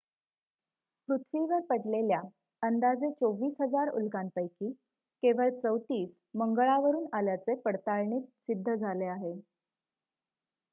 पृथ्वीवर पडलेल्या अंदाजे 24,000 उल्कांपैकी केवळ 34 मंगळावरून आल्याचे पडताळणीत सिद्ध झाले आहे